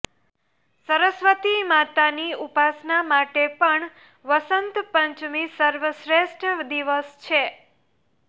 સરસ્વતી માતાની ઉપાસના માટે પણ વસંત પંચમી સર્વશ્રેષ્ઠ દિવસ છે